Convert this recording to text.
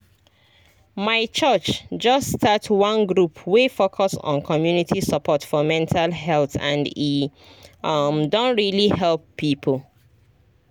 my church just start one group wey focus on community support for mental health and e um don really help people